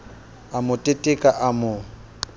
a mo teteka a mo